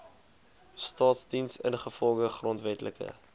staasdiens ingevolge grondwetlike